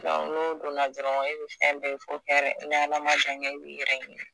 n'o donna dɔrɔn e bi fɛn bɛ ye fo hɛrɛ n'Ala jan kɛ i bi yɛrɛ ɲini